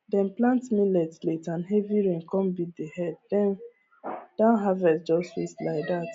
dem plant millet late and heavy rain come beat the head dem downharvest just waste like that